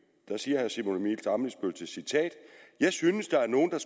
til citat jeg synes der er nogen der